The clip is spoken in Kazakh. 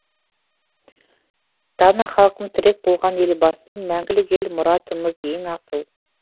дана халқым тірек болған елбасым мәңгілік ел мұратымыз ең асыл